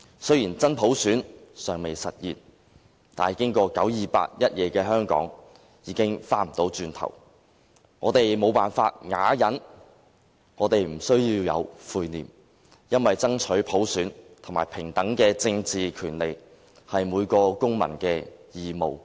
雖然真普選尚未實現，但經過九二八一夜的香港，已經回不去了，我們無法啞忍，我們不需要有悔念，因為爭取普選和平等的政治權利，是每個公民的義務，何罪之有？